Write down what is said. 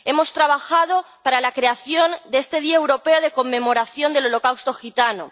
Hemos trabajado para la creación de este día europeo de conmemoración del holocausto gitano.